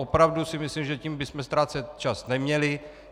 Opravdu si myslím, že tím bychom ztrácet čas neměli.